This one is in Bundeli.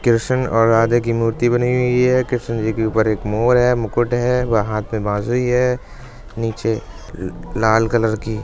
कृष्ण और राधे की मूर्ती बनी हुई है। कृष्ण जी के ऊपर एक मोर है मुकुट है व हाथ में बाँसुरी है नीचे लाल कलर की--